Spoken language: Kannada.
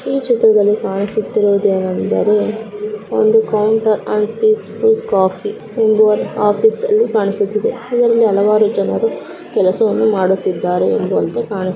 ಈ ಚಿತ್ರದಲ್ಲಿ ಕಾಣಿಸುತ್ತಿರುವುದು ಏನಂದರೆ ಒಂದು ಕೌಂಟರ್ ಅಂಡ್ ಪೀಸ್ಫ್ಯೂಲ್ ಕಾಫಿ ಎಂದು ಆಫೀಸ್ ಅಲ್ಲಿ ಕೈಸುಟ್ಟಿದೆ. ಇದರಲ್ಲಿ ಹಲವಾರು ಜನರು ಕೆಲಸವನ್ನು ಮಾಡುತ್ತಿದ್ದಾರೆ ಎಂದು ಅಂತೂ ಕಾಣು --